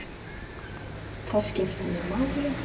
Það skiptir mig máli.